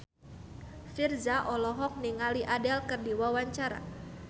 Virzha olohok ningali Adele keur diwawancara